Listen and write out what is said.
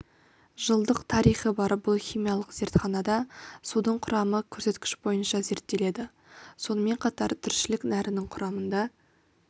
жылдық тарихы бар бұл химиялық зертханада судың құрамы көрсеткіш бойынша зерттеледі сонымен қатар тіршілік нәрінің құрамында